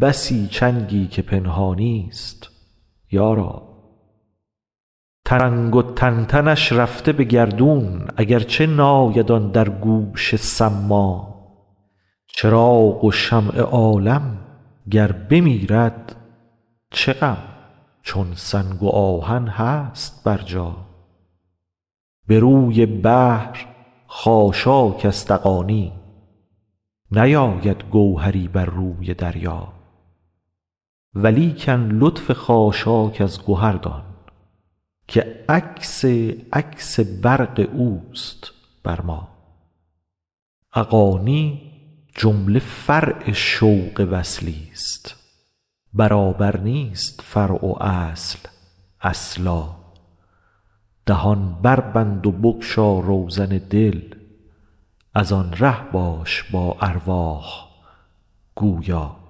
بسی چنگی که پنهانیست یارا ترنگ و تنتنش رفته به گردون اگر چه ناید آن در گوش صما چراغ و شمع عالم گر بمیرد چه غم چون سنگ و آهن هست برجا به روی بحر خاشاک است اغانی نیاید گوهری بر روی دریا ولیکن لطف خاشاک از گهر دان که عکس عکس برق اوست بر ما اغانی جمله فرع شوق وصلی ست برابر نیست فرع و اصل اصلا دهان بربند و بگشا روزن دل از آن ره باش با ارواح گویا